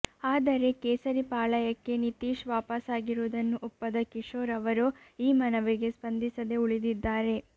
ಆದರೆ ಕೇಸರಿ ಪಾಳಯಕ್ಕೆ ನಿತೀಶ್ ವಾಪಸಾಗಿರುವುದನ್ನು ಒಪ್ಪದ ಕಿಶೋರ್ ಅವರು ಈ ಮನವಿಗೆ ಸ್ಪಂದಿಸದೆ ಉಳಿದಿದ್ದಾರೆ